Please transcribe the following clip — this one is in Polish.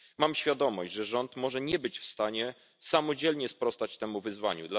Mam świadomość, że rząd może nie być w stanie samodzielnie sprostać temu wyzwaniu.